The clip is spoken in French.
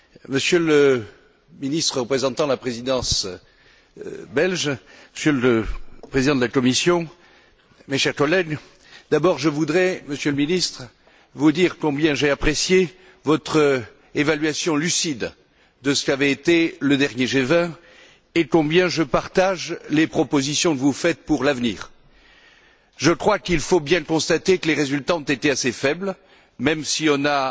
Monsieur le Ministre représentant la Présidence belge, Monsieur le Président de la Commission, mes chers collègues, je voudrais, d'abord, Monsieur le Ministre, vous dire combien j'ai apprécié votre évaluation lucide de ce qu'a été le dernier G20 et combien je partage les propositions que vous faites pour l'avenir. Je crois qu'il faut bien constater que les résultats ont été assez faibles, même si on a